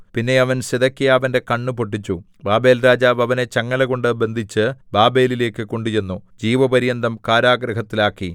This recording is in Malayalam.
പിന്നെ അവൻ സിദെക്കീയാവിന്റെ കണ്ണ് പൊട്ടിച്ചു ബാബേൽരാജാവ് അവനെ ചങ്ങലകൊണ്ടു ബന്ധിച്ച് ബാബേലിലേക്കു കൊണ്ടുചെന്നു ജീവപര്യന്തം കാരാഗൃഹത്തിൽ ആക്കി